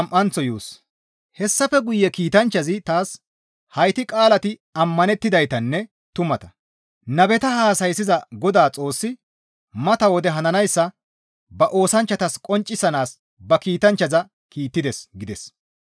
Hessafe guye kiitanchchazi taas, «Hayti qaalati ammanettidaytanne tumata; nabeta haasayssiza Godaa Xoossi mata wode hananayssa ba oosanchchatas qonccisanaas ba kiitanchchaza kiittides» gides.